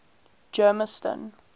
germiston